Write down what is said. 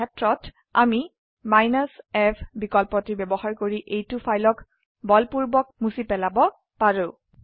এই সেত্ৰত আমি f বিকল্পটি ব্যবহাৰ কৰি এইটো ফাইলক বলপূৰ্বক মুছি পেলাব পাৰে